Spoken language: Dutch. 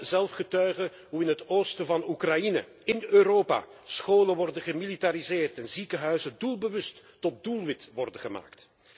Ik was er zelf getuige van hoe in het oosten van Oekraïne, in Europa, scholen worden gemilitariseerd en ziekenhuizen doelbewust tot doelwit worden gemaakt.